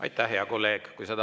Aitäh, hea kolleeg!